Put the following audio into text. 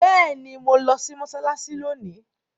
Béèni mọ lò sí Mossalassi lóni!